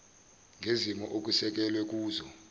ngezimo okusekelwe kuzo